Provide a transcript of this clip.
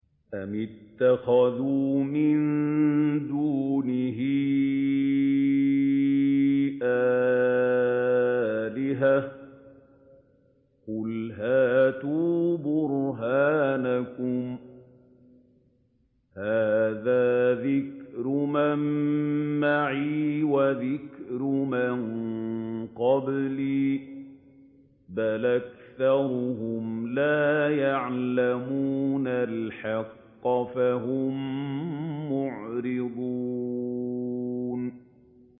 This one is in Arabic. أَمِ اتَّخَذُوا مِن دُونِهِ آلِهَةً ۖ قُلْ هَاتُوا بُرْهَانَكُمْ ۖ هَٰذَا ذِكْرُ مَن مَّعِيَ وَذِكْرُ مَن قَبْلِي ۗ بَلْ أَكْثَرُهُمْ لَا يَعْلَمُونَ الْحَقَّ ۖ فَهُم مُّعْرِضُونَ